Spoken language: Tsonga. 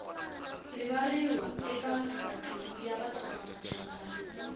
rivariwi eka matimu ya vatsongamachangana